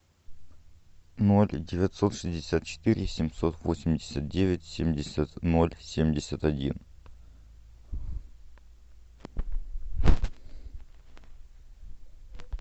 ноль девятьсот шестьдесят четыре семьсот восемьдесят девять семьдесят ноль семьдесят один